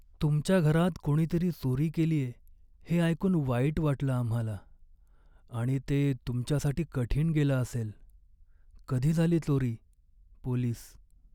तुमच्या घरात कोणीतरी चोरी केलीये हे ऐकून वाईट वाटलं आम्हाला आणि ते तुमच्यासाठी कठीण गेलं असेल. कधी झाली चोरी? पोलीस